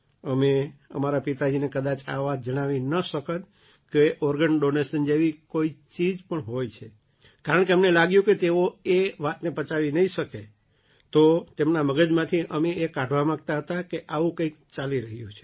અમે અમારા પિતાજીને કદાચ આ વાત જણાવી ન શકત કે ઑર્ગન ડૉનેશન જેવી કોઈ ચીજ પણ હોય છે કારણકે અમને લાગ્યું કે તેઓ એ વાતને પચાવી નહીં શકે તો તેમના મગજમાંથી અમે એ કાઢવા માગતા હતા કે આવું કંઈ ચાલી રહ્યું છે